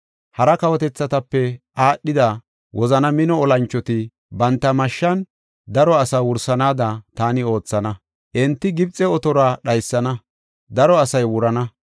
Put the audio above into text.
Hara kawotethatape aadhida, wozana mino olanchoti banta mashshan daro asaa wursanaada taani oothana. Enti Gibxe otoruwa dhaysana; daro asay wurana.